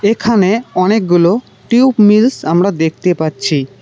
এখানে অনেকগুলো tube mills আমরা দেখতে পাচ্ছি।